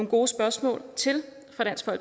gode spørgsmål